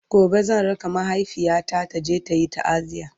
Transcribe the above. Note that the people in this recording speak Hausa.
gobe zan raka mahaifiyata taje tayi taaziya